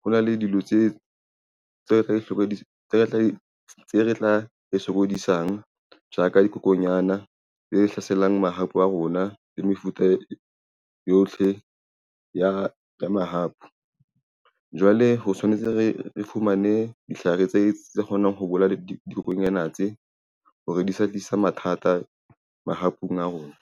ho na le dilo tse re tla re sokodisang ja ka dikokonyana tse hlaselang mahapu a rona le mefuta yohle ya mahapu. Jwale ho tshwanetse re fumane ditlhare tse kgonang ho bolaya dikokonyana tse hore di sa tlisa mathata mahapung a rona.